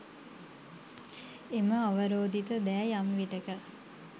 එම අවරෝධිත දෑ යම් විටෙක